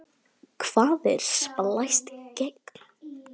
Hvað er splæst gen?